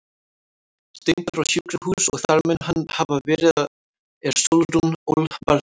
Steindór á sjúkrahús og þar mun hann hafa verið er Sólrún ól barnið.